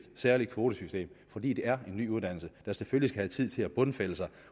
særligt kvotesystem fordi det er en ny uddannelse der selvfølgelig skal have tid til at bundfælde sig